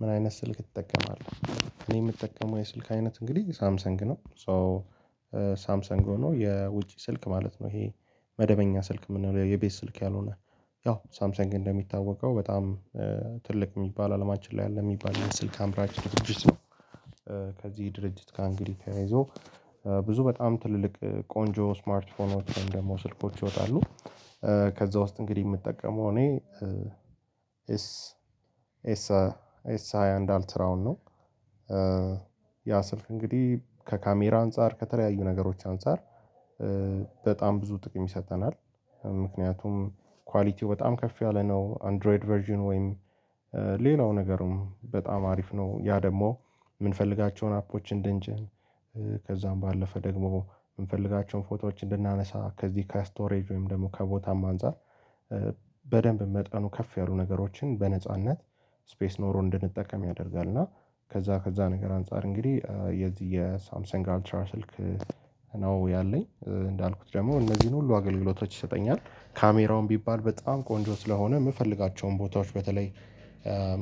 ምን አይነት ስልክ ትጠቀማለህ? እኔ የምጠቀመው የስልክ አይነት እንግዲህ ሳምሰንግ ነው ሶ ሳምሰንግ ሆኖ የውጪ ስልክ ማለት ነው ይሄ መደበኛ ስልክ የምንለው የቤት ስልክ ያልሆነ ያው ሳምሰንግ እንደሚታወቀው በጣም ትልቅ የሚባል አለማችን ላይ አለ የሚባል ስልክ አምራች ድርጅት ነው፤ ከዚህ ድርጅት እንግዲህ ተያይዞ ብዙ በጣም ትልልቅ ቆንጆ ስማርት ፎኖችን ደግሞ ስልኮች ይወጣሉ፤ ከዛ ውስጥ እንግዲህ የምጠቀመው እኔ ኤስ ኤስ ኤስ ሃያ አንድ አልትራውን ነው ያ ስልክ እንግዲህ ከካሜራ አንፃር ከተለያዩ ነገሮች አንፃር በጣም ብዙ ጥቅም ይሰጠናል ምክንያቱም ኳሊቲው በጣም ከፍ ያለ ነው አንድሮይድ ቨርዥን ወይም ሌላው ነገርም በጣም አሪፍ ነው ያ ደግሞ የምንፈልጋቸውን አፖችን እንድንጭን ከዛም ባለፈ ደግሞ የምንፈልጋቸውን ፎቶዎች እንድናነሳ ከዚህ ከስቶሬጅ ወይም ደግሞ ከቦታም አንፃር በደንብ መጠኑ ከፍ ያሉ ነገሮችን በነጻነት ስፔስ ኖሮ እንድንጠቀም ያደርጋል እና ከዛ ከዛ ነገር አንፃር እንግዲህ የዚህ የሳምሰን አልትራ ስልክ ነው ያለኝ እንዳልኩት ደግሞ እነዚህን ሁሉ አገልግሎቶች ይሰጠኛል ካሜራውን ቢባል በጣም ቆንጆ ስለሆነ የምፈልጋቸውን ቦታዎች በተለይ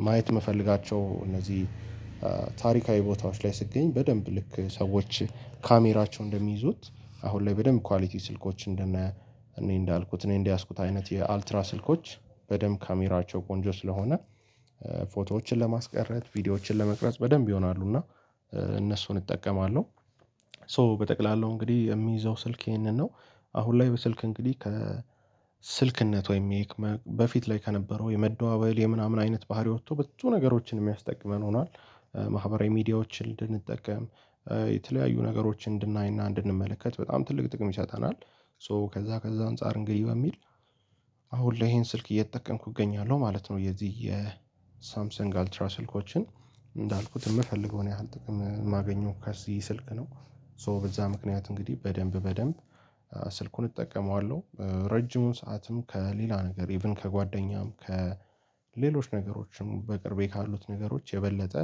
ማየት የምፈልጋቸው እነዚህ ታሪካዊ ቦታዎች ላይ ስትገኝ በደንብ ልክ ሰዎች ካሜራቸው እንደሚይዙት አሁን ላይ በደንብ ኳሊቲ ስልኮች እንደ እኔ እንዳልኩት እኔ እንደያዝኩት አይነት የአልትራ ስልኮች በደንብ ካሜራቸው ቆንጆ ስለሆነ ፎቶዎችን ለማስቀረት ቪዲዮዎችን ለመቅረጽ በደንብ ይሆናሉ እና እነሱን እጠቀማለሁ፤ ሶ በጠቅላላው እንግዲህ የሚይዘው ስልክ ይሄንን ነው አሁን ላይ በስልክ እንግዲህ ከ ስልክነት ወይም በፊት ላይ ከነበረው የመደዋወል የምናምን አይነት ባህሪ ወጥቶ በትንሽ ነገሮችን የሚያስጠቅመን ሆኗል፤ ማህበራዊ ሚዲያዎችን እንድንጠቀም የተለያዩ ነገሮችን እንድናይና እንድንመለከት በጣም ትልቅ ጥቅም ይሰጠናል ሶ ከዛ ከዛ አንፃር እንግዲህ በሚል አሁን ለይ ሄን ስልክ እየተጠቀምኩ እገኛለሁ ማለት ነው የዚህ የሳምሰንግ አልትራ ስልኮችን እንዳልኩት የምፈልገውን ያህል ጥቅም ማገኘው ከዚህ ስልክ ነው ሶ በዛ ምክንያት እንግዲህ በደንብ በደንብ ስልኩን እጠቀመዋለሁ ረጅሙን ሰዓትም ከሌላ ነገር ኢቭን ከጓደኛም ከሌሎች ነገሮችን በቅርቤ ካሉት ነገሮች የበለጠ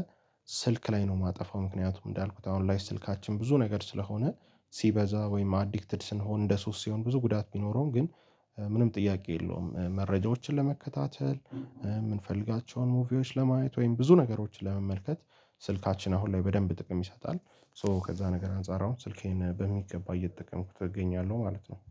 ስልክ ላይ ነው የማጠፋ፤ ምክንያቱም እንዳልኩት አሁን ላይ ስልካችን ብዙ ነገር ስለሆነ ሲበዛ ወይም አዲክትድ ስንሆን እንደ ሶስት ሲሆን ብዙ ጉዳት ቢኖረውም ግን ምንም ጥያቄ የለውም መረጃዎችን ለመከታተል፣ የምንፈልጋቸውን ሙቪዎች ለማየት ወይም ብዙ ነገሮችን ለመመልከት ስልካችን አሁን ላይ በደንብ ጥቅም ይሰጣል ሶ ከዛ ነገር አንፃር አሁን ስልኬን በሚገባ እየተጠቀምኩት ተገኛለሁ ማለት ነው።